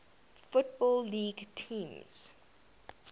football league teams